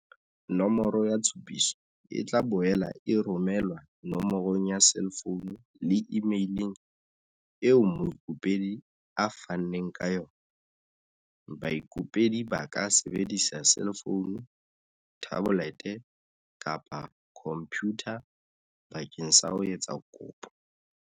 Nomoro ya tshupiso e tla boela e romelwa no morong ya selefounu le imeileng eo moikopedi a fanneng ka yona. Baikopedi ba ka sebedisa selefounu, thabolete kapa khompyutha bakeng sa ho etsa kopo.